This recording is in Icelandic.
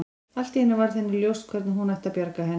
Allt í einu varð henni ljóst hvernig hún ætti að bjarga henni.